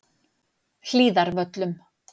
Hlíðarvöllum